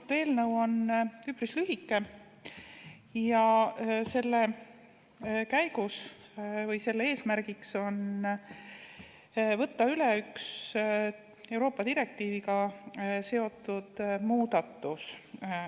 See eelnõu on üpris lühike ja selle eesmärk on võtta üle üks Euroopa Liidu direktiiviga seotud muudatus.